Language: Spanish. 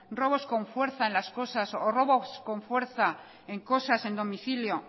robos con fuerzas en las cosas o robos con fuerza en cosas en domicilio